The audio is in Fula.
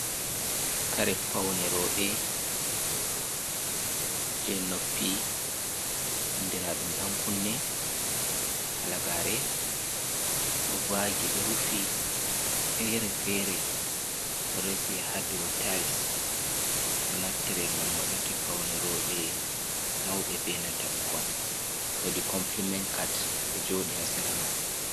Kare paune roɓe, je noppi andiraɗum dan kunne, halagare ɗo vaagi ɗo rufi fere-fere, ɗo reesi ha dou tayiss ɗo naftire ngam waɗuki paune roɓe mauɓe be nanta ɓukkon, woodi kompilimen kat ɗo jooɗi ha seera man.